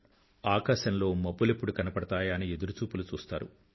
ఆకాశంలో మబ్బులెప్పుడు కనబడతాయా అని ఎదురుచూపులు చూశ్తారు